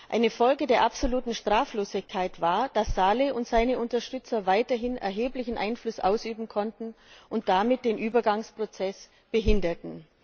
Eine Folge der absoluten Straflosigkeit war, dass Salih und seine Unterstützer weiterhin erheblichen Einfluss ausüben konnten und damit den Übergangsprozess behinderten.